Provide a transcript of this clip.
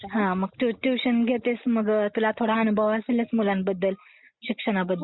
हा, हा. ट्युशन्स घेतेस म्हणजे तुला थोडा अनुभव असेलच मुलांबद्दल? शिक्षणाबद्दल.